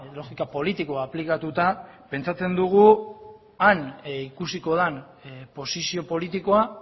logika politikoa aplikatuta pentsatzen dugu han ikusiko den posizio politikoa